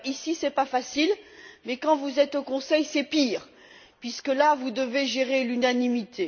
Ici ce n'est pas facile, mais quand vous êtes au Conseil, c'est pire, puisque là, vous devez gérer l'unanimité.